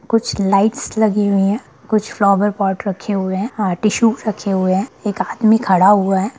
कुछ लाइट्स लगी हुई हैं कुछ फ्लावर पॉट रखे हुए हैं अ टिश्यू रखे हुए हैं एक आदमी खड़ा हुआ है|